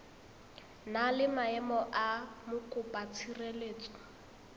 na le maemo a mokopatshireletso